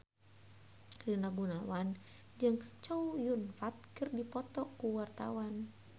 Rina Gunawan jeung Chow Yun Fat keur dipoto ku wartawan